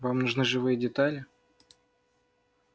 вам нужны живые детали